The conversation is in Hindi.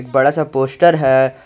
बड़ा सा पोस्टर है।